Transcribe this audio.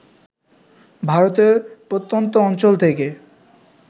ভারতের প্রত্যন্ত অঞ্চল থেকে